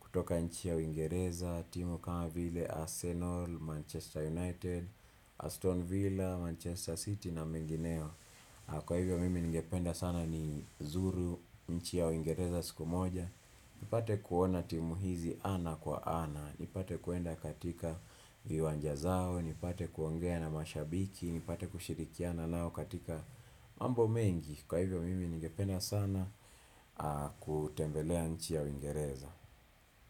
kutoka nchi ya uingereza. Timu kama vile Arsenal, Manchester United, Aston Villa, Manchester City na mingineo. Kwa hivyo mimi ningependa sana ni zuru nchi ya uingereza siku moja. Nipate kuona timu hizi ana kwa ana. Nipate kuenda katika viwanja zao. Nipate kuongea na mashabiki. Ni pate kushirikiana nao katika mambo mengi Kwa hivyo mimi ningepena sana kutembelea nchi ya uingereza.